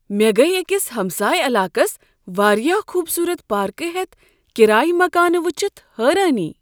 مےٚ گیہ أکس ہمسایہ علاقس وارِیاہ خوبصورت پاركہٕ ہیتھ کرایہ مکانہٕ وٕچھِتھ حٲرٲنی۔